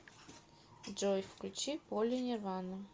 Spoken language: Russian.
джой включи поли нирвана